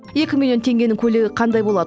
екі миллион теңгенің көйлегі қандай болады